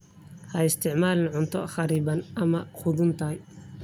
Ha isticmaalin cunto kharriban ama qudhuntay.